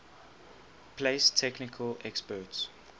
place technical experts